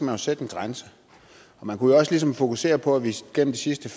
jo sætte en grænse man kunne også ligesom fokusere på at vi igennem de sidste